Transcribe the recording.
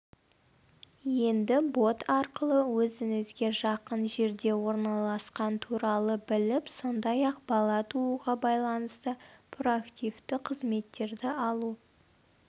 енді бот арқылы өзіңізге жақын жерде орналасқан туралы біліп сондай-ақ бала тууға байланысты проактивті қызметтерді алу